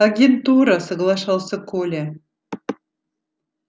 агентура соглашался коля